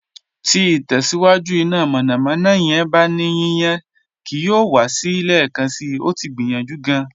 Ti itẹsiwaju ina mọnamọna yẹn ba ni yiyan kii yoo wa si wa lẹẹkansi, o ti gbiyanju gaan